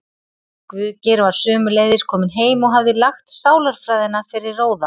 Guðgeir var sömuleiðis kominn heim og hafði lagt sálarfræðina fyrir róða.